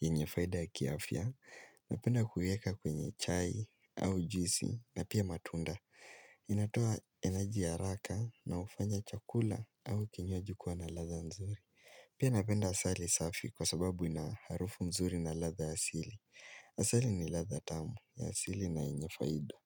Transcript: yenye faida ya kiafya. Napenda kuieka kwenye chai au juici na pia matunda. Inatoa energy haraka na hufanya chakula au kinywaji kuwa na ladha nzuri. Pia napenda asali safi kwa sababu inaharufu mzuri na ladha ya asili. Asali ni ladha tamu ya asili na yenye faida.